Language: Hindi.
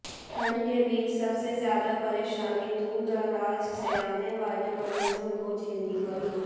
ठण्ड के बीच सबसे ज्यादा परेशानी दूरदराज से आने वाले मरीजों को झेलनी पड़ी